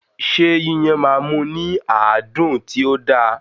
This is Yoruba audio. Ṣé Yíyan máa mú ní àádùn tí ó da?